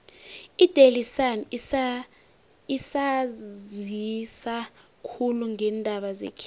idaily sun isanzisa khulu ngeendaba zekhethu